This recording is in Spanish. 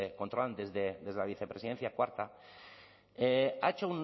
controlan desde la vicepresidencia cuarta ha hecho